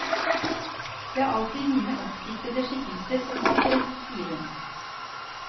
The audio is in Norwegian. Det er alltid mine oppdiktede skikkelser som opptrer, sier hun.